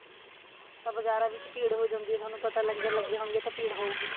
ਤਾਂ ਬਜਾਰਾ ਵਿੱਚ ਭੀੜ ਹੋ ਜਾਂਦੀ ਏ ਤੁਹਾਨੂੰ ਪਤਾ ਲੰਗਰ ਲਗੇ ਹੋਣਗੇ ਤਾਂ ਭੀੜ ਹੋਊਗੀ